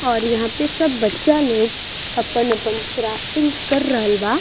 और यहां पे सब बच्चा लोग अपन-अपन क्राफ्टिंग कर रहल बा।